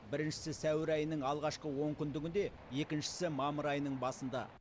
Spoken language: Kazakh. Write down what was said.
біріншісі сәуір айының алғашқы онкүндігінде екіншісі мамыр айының басында